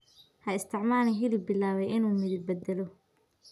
Ha isticmaalin hilib bilaabay inuu midab beddelo.